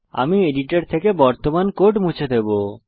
আমি এডিটর থেকে বর্তমান কোড মুছে দেবো